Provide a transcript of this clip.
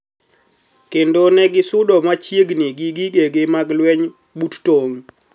Kendo negisudo machiegni gi gigegi mag lweny but tong`